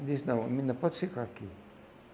Eles disse, não, menina, pode ficar aqui.